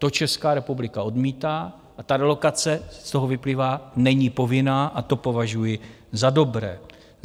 To Česká republika odmítá a ta relokace - z toho vyplývá - není povinná, a to považuji za dobré.